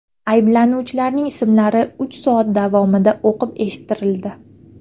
Ayblanuvchilarning ismlari uch soat davomida o‘qib eshittirildi.